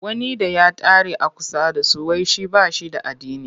Wani da ya tare a kusa da su.wai shi ba shi da addini.